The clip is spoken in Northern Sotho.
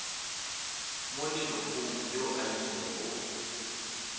mo lelokong yo a ilego